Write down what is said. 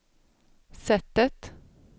sättet